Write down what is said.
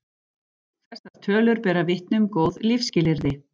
Þessar tölur bera vitni um góð lífsskilyrði.